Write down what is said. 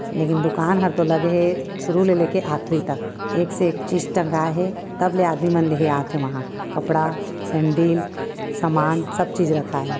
लेकिन दुकान हर तो लगे हे शुरू ले लेके आखिर तक एक से एक चीज टंगाए हे तबले आदमी मन ले हे आथे वहाँ कपड़ा सेन्डिल सामान सब चीज राखय हे।